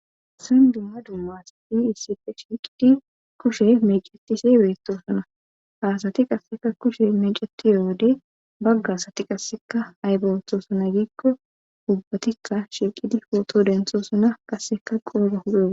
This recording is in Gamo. San dumma dummaasati issife shiiqidi kushe mecetise beettosana haasati qasseka kushe mecetiyowode baggasati qasseka haybewothoosana giikko ubbatikka shilqidi pooto denthoosana qasseka qoora hudo